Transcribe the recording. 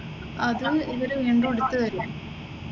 അത് ഇവര് വീണ്ടും എടുത്ത് തരും.